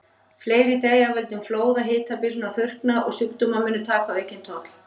Fleiri deyja af völdum flóða, hitabylgna og þurrka, og sjúkdómar munu taka aukinn toll.